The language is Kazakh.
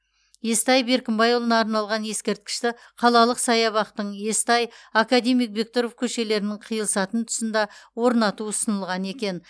естай беркімбайұлына арналған ескерткішті қалалық саябақтың естай академик бектұров көшелерінің қиылысатын тұсында орнату ұсынылған екен